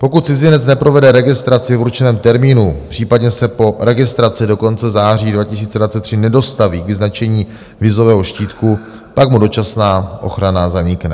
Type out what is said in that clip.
Pokud cizinec neprovede registraci v určeném termínu, případně se po registraci do konce září 2023 nedostaví k vyznačení vízového štítku, tak mu dočasná ochrana zanikne.